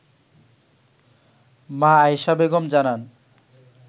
মা আয়েশা বেগম জানান